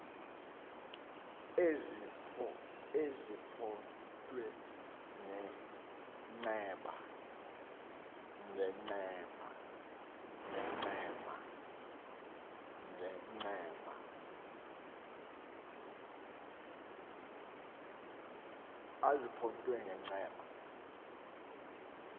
ezipho thwe ngencema